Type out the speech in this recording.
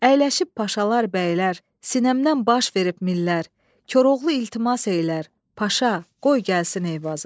Əyləşib Paşalar, bəylər, sinəmdən baş verib millər, Koroğlu iltimas eləyər, Paşa, qoy gəlsin Eyvazı.